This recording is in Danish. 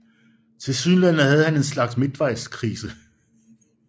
Tilsyneladende havde han en slags midtvejskrise